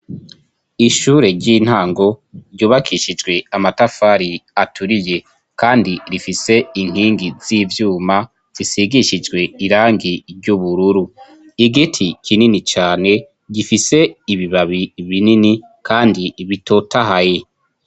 Ishure ry'intango ryubakishijwe amatafari aturiye, kandi rifise inkingi z'ivyuma zisigishijwe irangi ry'ubururu . Igiti kinini cane gifise ibibabi binini kandi bitotahaye.